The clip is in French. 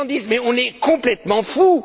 Les gens disent Mais on est complètement fous!